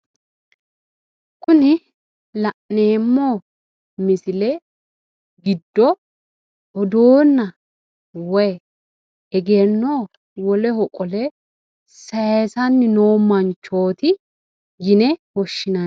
Kuni la'neemmo misile giddo odoonna woy egenno woleho qole sayiisanni noo manchooti yine woshshinanni.